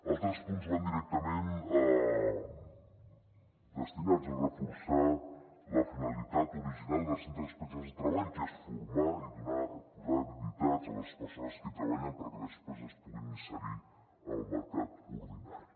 altres punts van directament destinats a reforçar la finalitat original dels centres especials de treball que és formar i donar posar habilitats a les persones que hi treballen perquè després es puguin inserir al mercat ordinari